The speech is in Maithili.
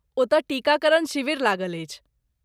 ओतय टीकाकरण शिविर लागल अछि।